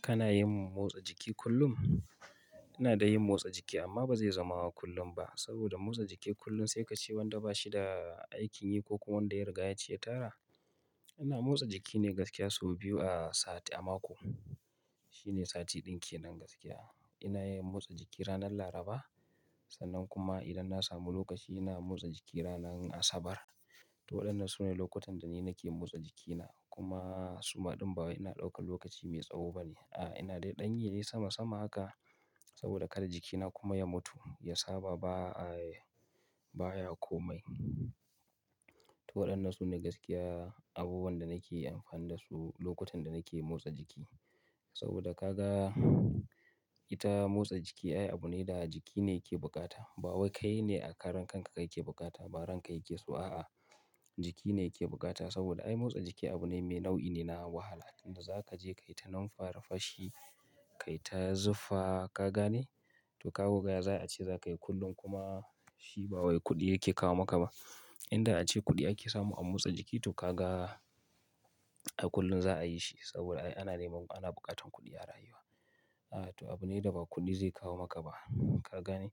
Kana yin motsa jiki kullum? Ina da yin motsa jiki amma ba zai zama kullum ba saboda motsa jiki kullum sai ka ce wanda ba shi da aikin yi ko kuma wanda ya riga ya ci ya tara. Ina motsa jiki ne gaskiya sau biyu a sati a mako. Shi ne sati ɗin ke nan gaskiya. Ina yin motsa jiki ranar Laraba sannan kuma idan na samu lokaci ina motsa jiki ranar Asabar. To waɗannan su ne lokutan da ni nake motsa jikina kuma suma ɗan baya ina ɗaukan lokaci mai tsawo bane. A'a ina dai ɗan yi ne sama sama haka saboda kar jikina kuma ya mutu ya saba ba, baya komai to waɗannan sune gaskiya abubuwan da nake amfani dasu lokutan da nake motsa jiki. Saboda ka ga ita motsa jiki ai abu ne da jiki ne yake bukata. Ba wai kai ne a karan ka kaka bukata ba, ran ka yake so a'a. Jikine yake bukata saboda ai motsa jiki abu ne nau'i ne na wahala saboda zaka je kayi ta numfarfashi kayi ta zufa, ka gane. To kaga koh ya za a ce za ka yi kullum kuma shi ba wai kuɗi yake kawo maka ba. Inda a ce kuɗi ake samu a motsa jiki to ka ga da kullum zaa yi shi saboda ai ana neman ana bukatan kuɗi a rayuwa. A to abu ne da ba kuɗi zai kawo maka ba ka gane?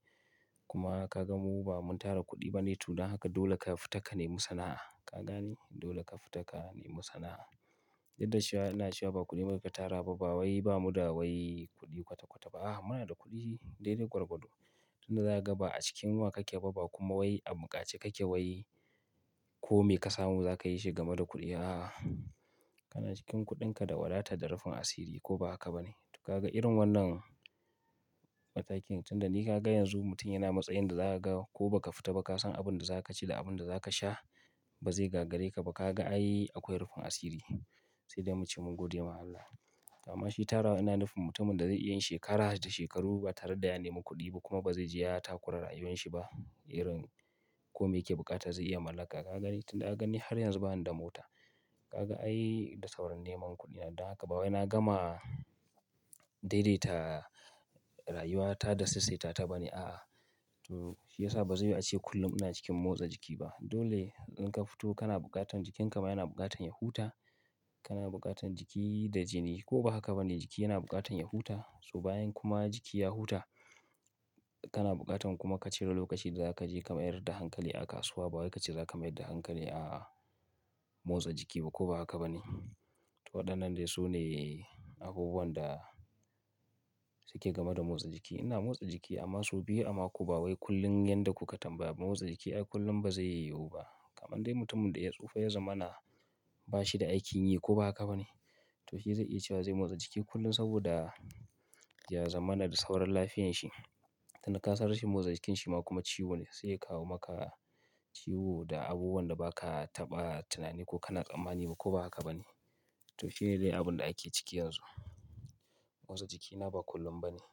Kuma ka ga mu ba mun tara kuɗi bane tun da haka dole ka fita ka nemi sana'a ka gane? Dole ka fita ka nemi sana'a. Duk da shi ina cewa ba kuɗi muka tara ba, ba wai ba mu da wai kuɗi kwata kwata ba. A muna da kuɗi daidai gwarwado tun da za a gaba a cikin yunwa ka ke ba, ba kuma wai a buƙaci ka ke wai kome ka samu za ka yi shi game da kuɗi a'a. Kana cikin kuɗinka da wadata da rufin asiri ko ba haka ba ne. To ka ga irin wannan matakin tun da ni ka ga yanzu mutum yana matsayin da za a ga ko ba ka fita ba ka san abin da za ka ci da abin da za ka sha ba zai gagarre ka ba. Ka ga ai akwai rufin asiri sai dai mu ce mun gode ma Allah. To ammashi tara wa ina nufin mutumin da zai yi shekarat da shekaru ba tare da ya nemi kuɗi ba kuma ba zai je ya takura rayuwanshi ba irin kome yake bukata zai iya mallaka ka gani? Tun da aka gani har yanzu ba ni da mota. Ka ga ai da sauran neman kuɗi na danga ba wai na gama daidaita rayuwata da saisaita ta ba ne a'a. To shi ya sa ba zai yi ace kullum ina cikin motsa jiki ba. Dole in ka fito jikin ka ma yana bukatar ya huta. Kana buƙatan jiki da jini ko ba haka ba ne jiki yana buƙatan ya huta. So bayan kuma jiki ya huta kana bukatar kuma ka cire lokaci da zaka je ka mayar da hankali a kasuwa. Suwa ba wa ka ce za ka mayar da hankali a motsa jiki ba ko ba haka ba ne. To waɗannan dai su ne abubuwan da suke game da motsa jiki. Ina motsa jiki amma sau biyu a mako ba wai kullum yanda kuka tambaya. Motsa jiki ai kullum ba zai yiwu ba. Kaman dai mutumin da ya tsufa ya zama na ba shi da aikin yi ko ba haka ba ne. To shi zai iya cewa zai motsa jiki kullum saboda ya zama na da sauran lafiyanshi. Tun da ka san rashin motsa jikinsa ma kuma ciwo ne sai ya kawo maka ciwo da abubuwan da ba ka taɓa tunani ko kana tsammani ba ko ba haka ba ne. To shi ne dai abin da ake ciki yanzu. Motsa jikina ba kullum ba ne.